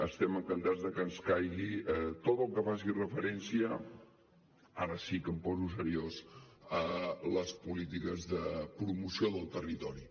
estem encantats de que ens caigui tot el que faci referència ara sí que em poso seriós a les polítiques de promoció del territori